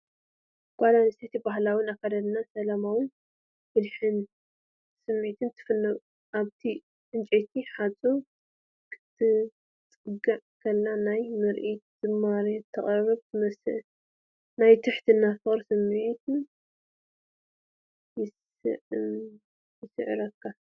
ጓል ኣንስተይቲ ብባህላዊ ኣከዳድናኣ ሰላማውን ብልሕን ስምዒት ትፍንው። ኣብቲ ዕንጨይቲ ሓጹር ክትጽጋዕ ከላ ናይ ምርኢት ዝማሬ ተቕርብ ትመስል ናይ ትሕትናን ፍቕርን ስምዒት ይስምዓካ።